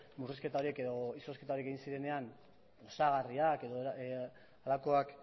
murrizketarik edo izozketarik egin zirenean osagarriak edo halakoak